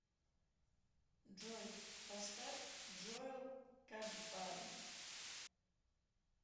джой поставь джоэл кадбари